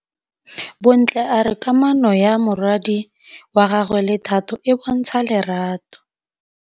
Bontle a re kamanô ya morwadi wa gagwe le Thato e bontsha lerato.